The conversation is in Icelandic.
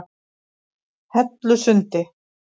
Hellusundi